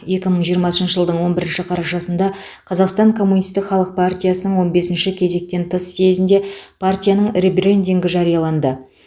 екі мың жиырмасыншы жылдың он бірінші қарашасында қазақстан коммунистік халық партиясының он бесінші кезектен тыс съезінде партияның ребрендингі жарияланды